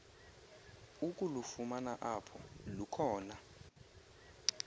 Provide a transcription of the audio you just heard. ukulufumana apho lukhona